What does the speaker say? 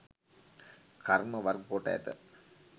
කර්ම වර්ග කොට ඇත.